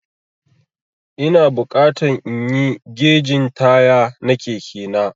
Ina bukatan inyi gegin taya na Keke na.